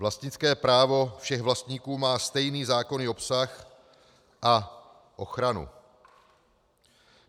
Vlastnické právo všech vlastníků má stejný zákonný obsah a ochranu.